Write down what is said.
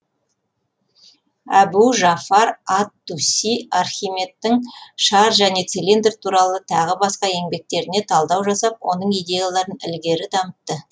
әбу жафар ат туси архимедтің шар және цилиндр туралы тағы басқа еңбектеріне талдау жасап оның идеяларын ілгері дамытты